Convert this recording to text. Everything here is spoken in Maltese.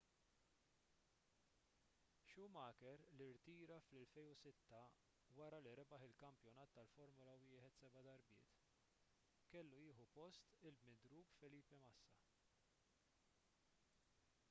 schumacher li rtira fl-2006 wara li rebaħ il-kampjonat tal-formula 1 seba' darbiet kellu jieħu post il-midrub felipe massa